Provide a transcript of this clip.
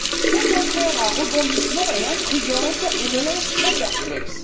Cette affaire à rebondissements est intrigante et me laisse très perplexe.